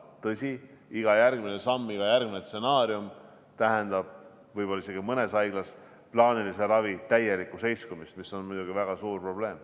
Tõsi, iga järgmine samm, iga järgmine stsenaarium tähendab võib-olla isegi mõnes haiglas plaanilise ravi täielikku seiskumist, mis on muidugi väga suur probleem.